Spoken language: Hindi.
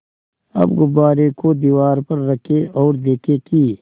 अब गुब्बारे को दीवार पर रखें ओर देखें कि